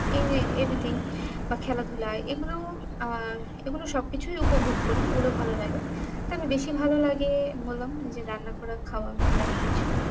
এই editing বা খেলা ধুলা এইগুলো আহ এইগুলো সব কিছুই উপভোগ করি এইগুলো ভালো লাগে তবে বেশি ভালো লাগে বললাম ওই যে রান্না করা খাওয়া ঘোরা এইসব